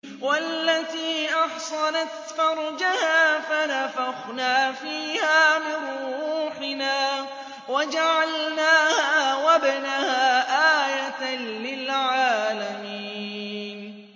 وَالَّتِي أَحْصَنَتْ فَرْجَهَا فَنَفَخْنَا فِيهَا مِن رُّوحِنَا وَجَعَلْنَاهَا وَابْنَهَا آيَةً لِّلْعَالَمِينَ